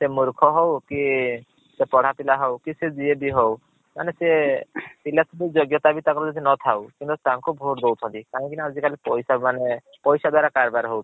ସେ ମୁର୍ଖ ହଉ କି ସେ ପଢା ପିଲା ହଉ କି ସେ ଯିଏ ବି ହଉ ମାନେ ସିଏ ଯୋଗ୍ୟତା ବି ତା ପାଖରେ ନଥାଉ କିନ୍ତୁ ତାଙ୍କୁ vote ଦୌଛନ୍ତି। କାହିଁକି ନା ଆଜି କାଲି ପଇସା ମାନେ ପଇସା ଦ୍ୱାରା କାରବାର୍ ହଉଛି।